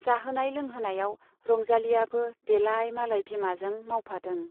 जाहोनाय लोंहोनायाव रंजालीयाबो देलाइ मालाइ बिमाजों मावफादों।